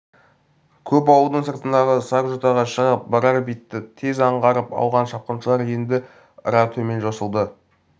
көп ауылдың сыртындағы сар жотаға шығып барар бетті тез аңғарып алған шапқыншылар енді ыра төмен жосылды